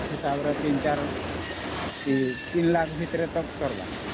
34 Lakh ଅମ୍ 3Lakh ଭିତରେ ସରବା